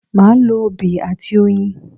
Màá lo obì àti oyin